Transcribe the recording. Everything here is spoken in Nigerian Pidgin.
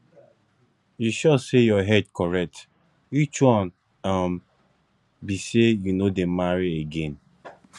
you sure say your head correct which one um be say you no dey marry again